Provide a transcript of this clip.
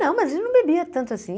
Não, mas a gente não bebia tanto assim.